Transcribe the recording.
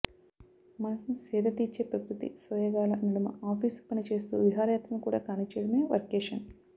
మనసుని సేదతీర్చే ప్రకృతి సోయగాల నడుమ ఆఫీసు పని చేస్తూ విహారయాత్ర కూడా కానిచ్చేయడమే వర్కేషన్